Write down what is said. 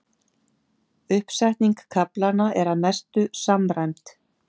Uppsetning kaflanna er að mestu samræmd